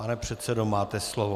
Pane předsedo, máte slovo.